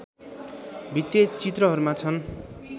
भित्ते चित्रहरूमा छन्